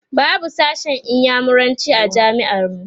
babu sashen inyamuranci a jami'ar mu